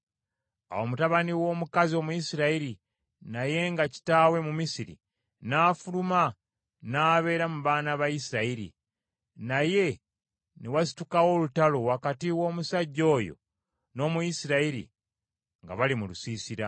Awo mutabani w’omukazi Omuyisirayiri naye nga kitaawe Mumisiri n’afuluma n’abeera mu baana ba Isirayiri, naye ne wasitukawo olutalo wakati w’omusajja oyo n’Omuyisirayiri, nga bali mu lusiisira .